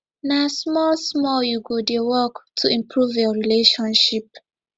na smallsmall you go dey work to improve your relationship